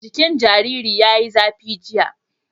Jikin jaririn ya yi zafi, jiya